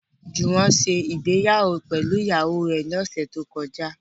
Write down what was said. Jùwọ́n ṣe ìgbéyàwó pẹ̀lú ìyàwó rẹ̀ ní ọ̀sẹ̀ tó kọjá